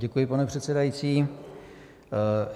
Děkuji, pane předsedající.